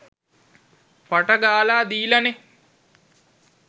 පට ගාලා දීලානේ.